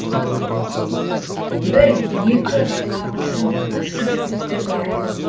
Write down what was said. бір екі қағушы қосшы жігіттер бар